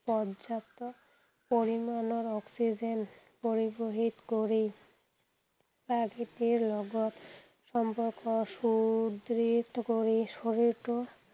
পৰ্যাপ্ত পৰিমাণৰ অক্সিজেন পৰিবহিত কৰি প্ৰকৃতিৰ লগত সম্পৰ্ক সুদৃঢ় কৰি শৰীৰটো